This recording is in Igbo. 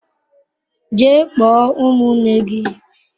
Jee kpọọ ụmụnne gi!